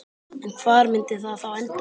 En hvar myndi það þá enda?